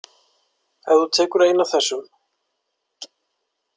Ef þú tekur eina af þessum